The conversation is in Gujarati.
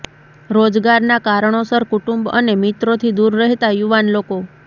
રોજગારના કારણોસર કુટુંબ અને મિત્રોથી દૂર રહેતાં યુવાન લોકો